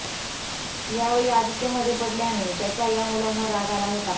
यावेळी आदित्य मध्ये पडल्याने त्याचा या मुलांना राग आला होता